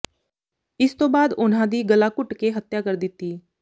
ਇਸ ਤੋਂ ਬਾਅਦ ਉਨ੍ਹਾਂ ਦੀ ਗਲਾ ਘੱੁਟ ਕੇ ਹੱਤਿਆ ਕਰ ਦਿਤੀ